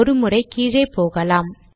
ஒரு முறை கீழே போகலாம்